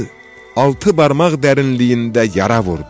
altı barmaq dərinliyində yara vurdu.